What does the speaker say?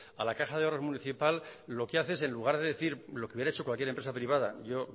a la caja de ahorros municipal lo que hace es en lugar de decir lo que hubiera hecho cualquier empresa privada yo